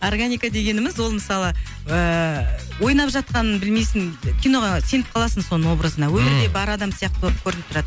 органика дегеніміз ол мысалы ыыы ойнап жатқанын білмейсің киноға сеніп қаласың соның образына ммм өмірде бар адам сияқты көрініп тұрады